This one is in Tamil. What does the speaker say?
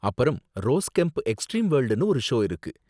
அப்பறம் ரோஸ் கெம்ப் எக்ஸ்ட்ரீம் வோர்ல்டுனு ஒரு ஷோ இருக்கு.